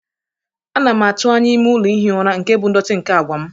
Ana m atụ anya ime ụlọ ihi ụra nke bụ ndọtị nke àgwà m.